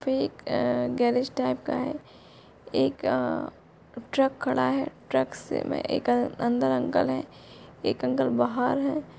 एक अ गैरेज अ टाइप का है एक अ ट्रक खड़ा है ट्रक से में अंदर अंकल है एक अंकल बाहर है।